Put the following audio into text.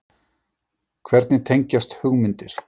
Hvernig tengjast hugmyndir?